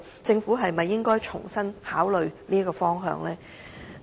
政府是否應該重新檢視這方向呢？